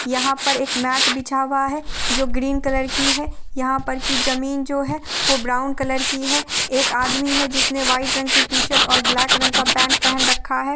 यहाँ पर एक मेट बिछा हूआ है जो ग्रीन कलर की है| यहाँ पर की जमीन जो है वो ब्राउन कलर की है| एक आदमी है जिसने व्हाइट रंग की टी-शर्ट और ब्लैक रंग का पेंट पहन रखा है।